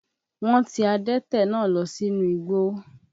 Wọ́n ti adẹ́tẹ̀ náà lọ sínú igbó.